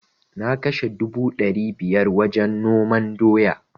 Na kashe dubu dari biyar wajen noman doya